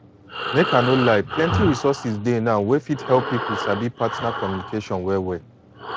make i no lie plenty resources dey now wey fit help people sabi partner communication well well